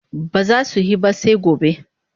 Ba za su he ba sai gobe.